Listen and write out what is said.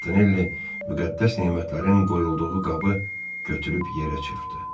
Montenelli müqəddəs nemətlərin qoyulduğu qabı götürüb yerə çırpdı.